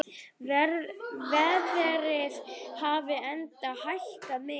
Verðið hafi enda hækkað mikið.